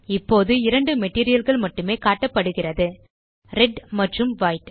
இப்போது இரண்டு materialகள் மட்டுமே காட்டப்படுகிறது ரெட் மற்றும் வைட்